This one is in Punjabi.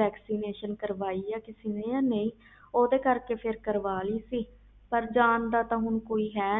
vaccination ਕਾਰਵਾਈ ਜਾ ਨਹੀਂ ਓਹਦੇ ਕਰਕੇ ਕਾਰਵਾਲੀ ਸੀ ਮੈਂ ਪਰ ਜਾਨ ਦਾ ਹੈ